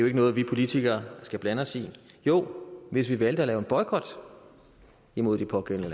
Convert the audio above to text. ikke noget vi politikere skal blande os i jo hvis vi valgte at lave en boykot imod de pågældende